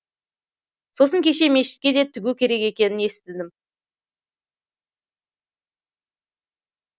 сосын кеше мешітке де тігу керек екенін естідім